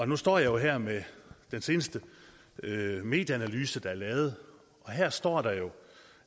nu står jeg her med den seneste medieanalyse der er lavet og her står der jo